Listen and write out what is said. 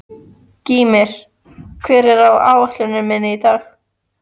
Gýmir, hvað er á áætluninni minni í dag?